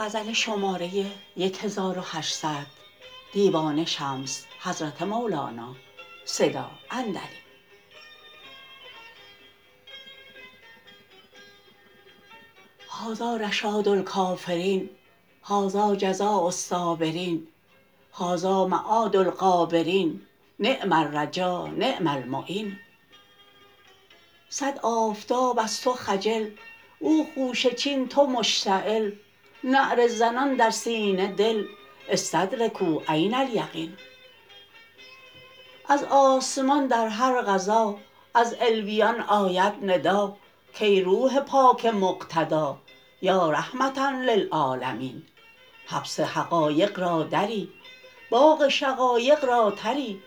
هذا رشاد الکافرین هذا جزاء الصابرین هذا معاد الغابرین نعم الرجا نعم المعین صد آفتاب از تو خجل او خوشه چین تو مشتعل نعره زنان در سینه دل استدرکوا عین الیقین از آسمان در هر غذا از علویان آید ندا کای روح پاک مقتدا یا رحمة للعالمین حبس حقایق را دری باغ شقایق را تری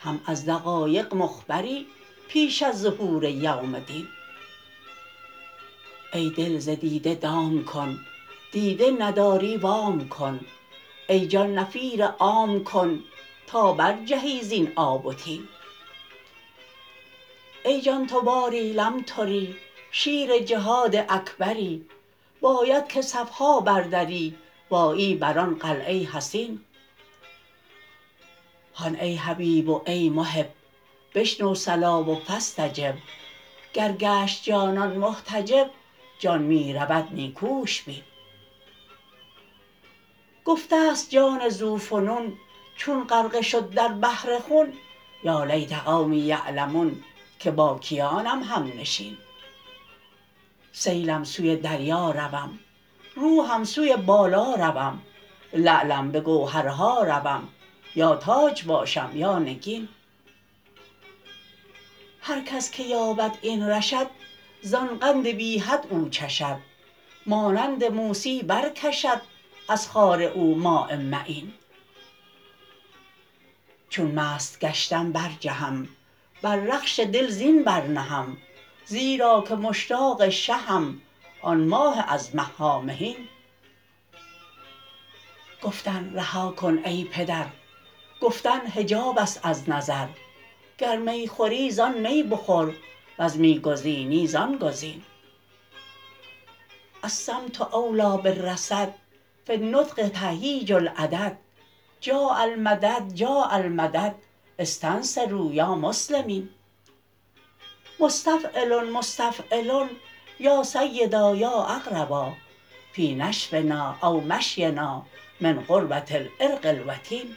هم از دقایق مخبری پیش از ظهور یوم دین ای دل ز دیده دام کن دیده نداری وام کن ای جان نفیر عام کن تا برجهی زین آب و طین ای جان تو باری لمتری شیر جهاد اکبری باید که صف ها بردری و آیی بر آن قلعه حصین هان ای حبیب و ای محب بشنو صلا و فاستجب گر گشت جانان محتجب جان می رود نیکوش بین گفته ست جان ذوفنون چون غرقه شد در بحر خون یا لیت قومی یعلمون که با کیانم همنشین سیلم سوی دریا روم روحم سوی بالا روم لعلم به گوهرها روم یا تاج باشم یا نگین هر کس که یابد این رشد زان قند بی حد او چشد مانند موسی برکشد از خاره او ماء معین چون مست گشتم برجهم بر رخش دل زین برنهم زیرا که مشتاق شهم آن ماه از مه ها مهین گفتن رها کن ای پدر گفتن حجاب است از نظر گر می خوری زان می بخور ور می گزینی زان گزین الصمت اولی بالرصد فی النطق تهییج العدد جاء المدد جاء المدد استنصروا یا مسلمین مستفعلن مستفعلن یا سیدا یا اقربا فی نشونا او مشینا من قربه العرق الوتین